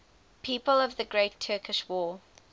people of the great turkish war